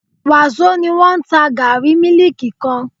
Wàsó ni wọ́n ta gààrí mílíkì kan